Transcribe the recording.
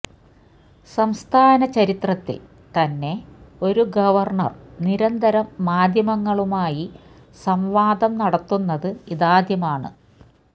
സംസ്ഥാന ചരിത്രത്തിൽ തന്നെ ഒരു ഗവർണർ നിരന്തരം മാധ്യമങ്ങളുമായി സംവാദം നടത്തുന്നത് ഇതാദ്യമാണ്